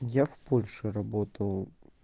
я в польше работал